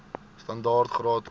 standaard graad or